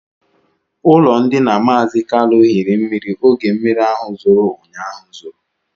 Ụlọndina mazi Kalu hiri mmiri oge mmiri ahụ zoro ụnyaahụ zoro